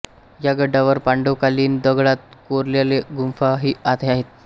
या गडावर पांडव कालीन दगडात कोरलेल्यागुंफा ही आहेत